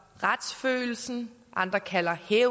retsfølelsen andre kalder det